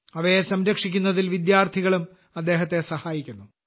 അവയെ സംരക്ഷിക്കുന്നതിൽ വിദ്യാർത്ഥികളും അദ്ദേഹത്തെ സഹായിക്കുന്നു